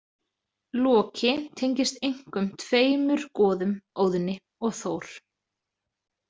Loki tengist einkum tveimur goðum, Óðni og Þór.